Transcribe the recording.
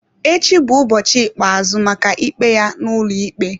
Echi bụ ụbọchị ikpeazụ maka ikpe ya n'ụlọikpe.